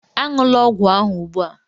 Aṅụla ọgwụ ahụ ugbu a!